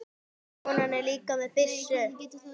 Konan er líka með byssu.